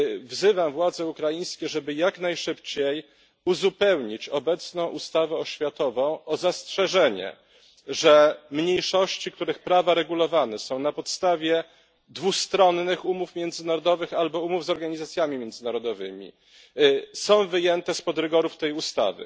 Wzywam władze ukraińskie, żeby jak najszybciej uzupełnić obecną ustawę oświatową o zastrzeżenie, że mniejszości, których prawa regulowane są na podstawie dwustronnych umów międzynarodowych albo umów z organizacjami międzynarodowymi, są wyjęte spod rygorów tej ustawy.